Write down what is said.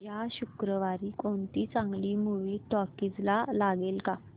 या शुक्रवारी कोणती चांगली मूवी टॉकीझ ला लागेल का